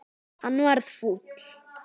Hann varð fúll.